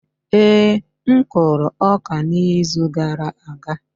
Ee, m kụrụ ọka n'izu gara aga.